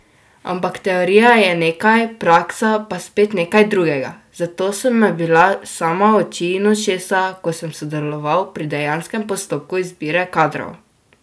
Ampak teorija je nekaj, praksa pa spet nekaj drugega, zato so me bila sama oči in ušesa, ko sem sodeloval pri dejanskem postopku izbire kadrov.